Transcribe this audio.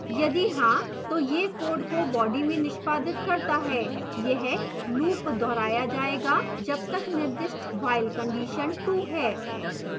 यदि हाँ तो यह code को body में निष्पादित करता है यह loop दोहराया जायेगा जब तक निर्दिष्ट while condition ट्रू है